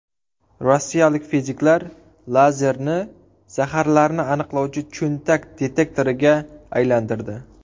Rossiyalik fiziklar lazerni zaharlarni aniqlovchi cho‘ntak detektoriga aylantirdi.